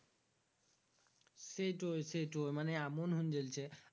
সেটই সেটই মানে এমন হুং গেলছে